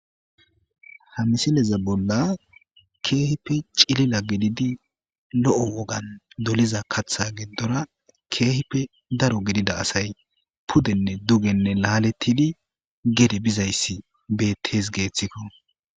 Ha misileza bolla keehippe cilila gididi lo'o wogan doliza katha gidora keehippe daro gidida asay pudenne dugenne laaletidi gede bizaysi betes geethiko.